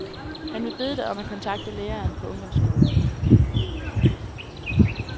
Han vil bede dig om at kontakte læreren på ungdomsskolen.